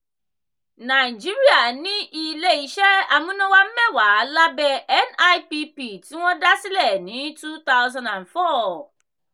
nàìjíríà ní ilé iṣẹ́ amúnáwá mẹ́wàá lábẹ́ nipp tí wọ́n dá sílẹ̀ ní two thousand and four.